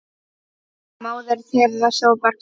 Móðir þeirra sópar gólf